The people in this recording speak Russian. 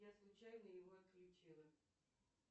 я случайно его отключила